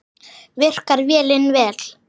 Virkar vélin vel?